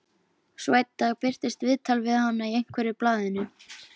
Svo einn dag birtist viðtal við hana í einhverju blaðinu.